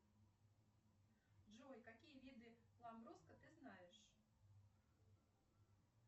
джой какие виды ламбруско ты знаешь